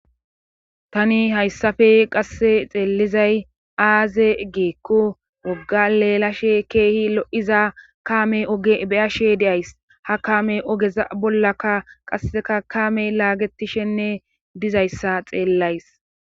Tani hayssafe qasse xeelizay aaze giikku wogga leelashe keehi lo7iza kaame beyashe deays ha kaame ogeza bollaka qasseka kaame laagetishenne dizayssa xeellays.